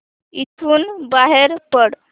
इथून बाहेर पड